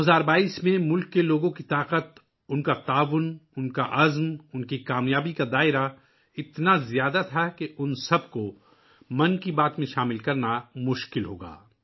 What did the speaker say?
2022 ء میں ملک کے لوگوں کی صلاحیت، ان کا تعاون، ان کا عزم، ان کی کامیابی اتنی زیادہ تھی کہ ان سب کو 'من کی بات' میں شامل کرنا مشکل ہو گا